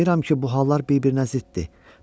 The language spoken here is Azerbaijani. Mən anlayıram ki, bu hallar bir-birinə ziddir.